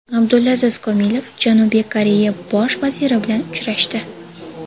Abdulaziz Komilov Janubiy Koreya bosh vaziri bilan uchrashdi.